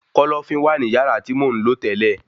Kọ́lọ́fín wà ní yàrá tí mò ń lò tẹ́lẹ̀